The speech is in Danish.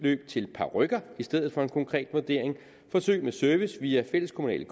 til parykker i stedet for en konkret vurdering forsøg med service via fælleskommunale